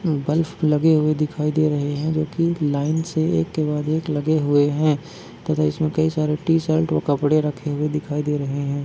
Bulb लगे हुए दिखाई दे रहे है जोकि एक लाइन से एक के बाद एक लगे हुए है तथा इसमें कई सारे टीशर्ट व कपडे रखे हुए दिखाई दे रहे हैं।